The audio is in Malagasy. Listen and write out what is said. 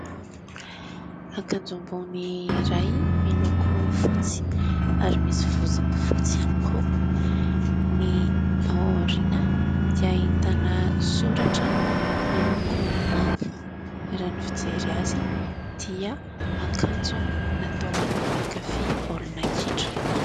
Akanjo ambony iray miloko fotsy ary misy vozony fotsy ihany koa, ny aoriana dia ahitana soratra miloko manga, raha ny fijery azy dia akanjo natao an'ny mpankafia baolina kitra.